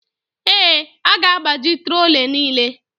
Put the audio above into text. Ee, a ga-agbaji trolley niile.